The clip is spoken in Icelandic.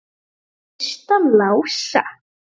Gætirðu kysst hann Lása?